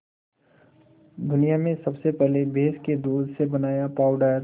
दुनिया में सबसे पहले भैंस के दूध से बनाया पावडर